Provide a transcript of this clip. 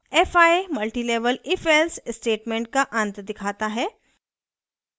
fi multilevel ifelse statement का अंत दिखाता है